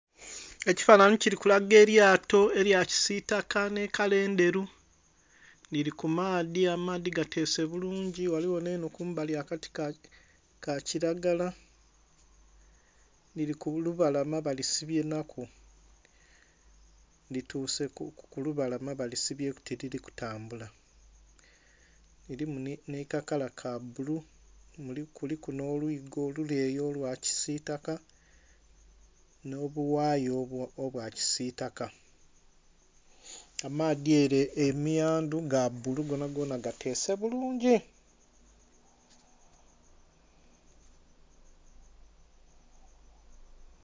Ekifananhi kili kulaga elyato elya kisitaka nhi kala endheru lili ku maadhi, amaadhi gateese bulungi eliyo nenho akati ka kilagala lili ku lubalama balisibye nhaku lituse ku lubalama balisibeku tilili ku tambula, kilimu nha kakala ka bulu kuliku nho lwigo oluleeyi olwa kilagala nho obughaya obwa kilagala. Amaadhi ere emiyandhu ga bulu gonna gonna gateese bulungi.